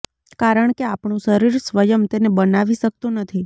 કારણ કે આપણું શરીર સ્વયં તેને બનાવી શકતું નથી